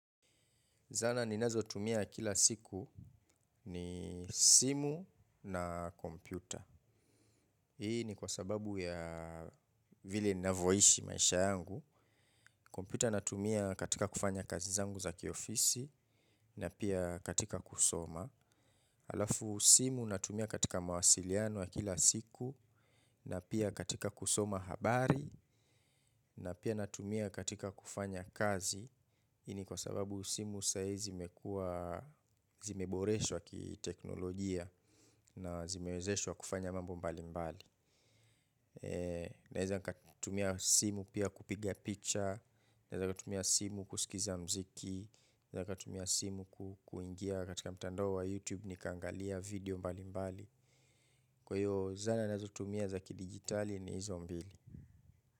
Zana ninazotumia kila siku ni simu na kompyuta. Hii ni kwa sababu ya vile ninavoishi maisha yangu. Kompyuta natumia katika kufanya kazi zangu za kiofisi na pia katika kusoma. Alafu simu natumia katika mawasiliano ya kila siku na pia katika kusoma habari na pia natumia katika kufanya kazi. Ii ni kwa sababu simu saa ii zimekua zimeboreshwa kiteknolojia na zimewezeshwa kufanya mambo mbalimbali. Naeza nikatumia simu pia kupiga picha, naeza nikatumia simu kusikiza mziki. Naeza nikatumia simu kuingia katika mtandao wa youtube nikaangalia video mbalimbali. Kwa io zana ninazotumia za kidijitali ni izo mbili.